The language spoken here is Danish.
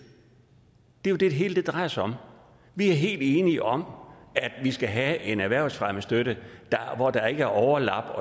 det jo det hele drejer sig om vi er helt enige om at vi skal have en erhvervsfremmestøtte der ikke har overlap